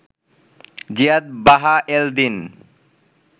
জিয়াদ বাহা এল দিন